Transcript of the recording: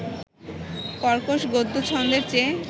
কর্কশ গদ্য-ছন্দের চেয়ে